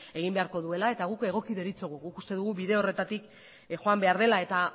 egin beharko duela eta guk egoki deritzogu guk uste dugu bide horretatik joan behar dela eta